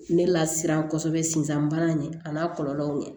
Ne la siran kosɛbɛ sinzan bana ɲɛ a n'a kɔlɔlɔw ɲɛ